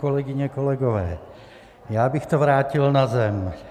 Kolegyně, kolegové, já bych to vrátil na zem.